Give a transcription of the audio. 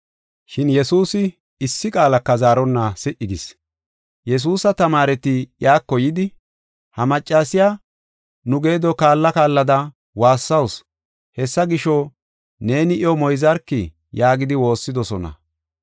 Shin Yesuusi issi qaalaka zaaronna si77i gis. Yesuusa tamaareti iyako yidi, “Ha maccasiya nu geedo kaalla kaallada, woossawusu. Hessa gisho, neeni iyo moyzarki” yaagidi woossidosona.